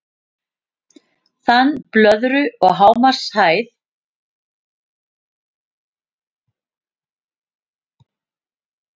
Þan blöðru og hámarkshæð Þegar blöðrur stíga upp á við dregur úr loftþrýstingi umhverfis þær.